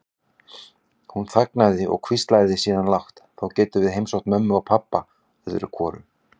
Hún þagnaði og hvíslaði síðan lágt: Þá gátum við heimsótt mömmu og pabba öðru hvoru.